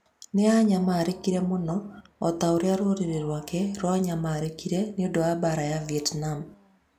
Nĩ aanyamarĩkire mũno, o ta ũrĩa rũrĩrĩ rwake rwanyamarĩkire nĩ ũndũ wa mbaara ya Vietnam.